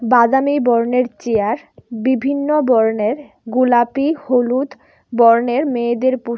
বাদামী বর্ণের চেয়ার বিভিন্ন বর্ণের গোলাপী হলুদ বর্ণের মেয়েদের পোশ--